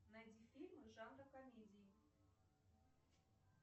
найди фильмы жанра комедии